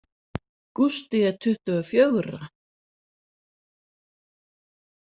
Gústi er tuttugu og fjögurra.